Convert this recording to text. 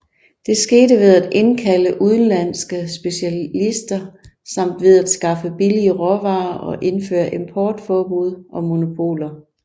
Det skete ved at indkalde udenlandske specialister samt ved at skaffe billige råvarer og indføre importforbud og monopoler